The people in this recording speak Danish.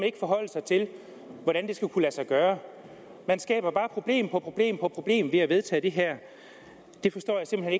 ikke forholde sig til hvordan det skal kunne lade sig gøre man skaber bare problem problem på problem ved at vedtage det her det forstår jeg simpelt